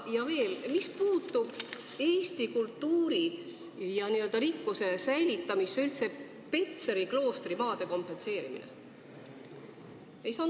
Ja veel: kuidas aitab Eesti kultuuririkkuste säilitamisele kaasa Petseri kloostri maade kompenseerimine?